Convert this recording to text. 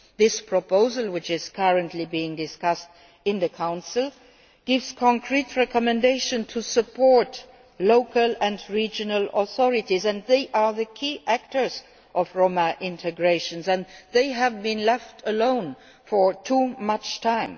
This proposal, which is currently being discussed in the Council, gives concrete recommendations to support local and regional authorities, which are the key actors in Roma integration and have been left alone for too long.